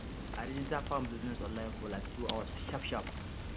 i register farm business online for like two hours sharpsharp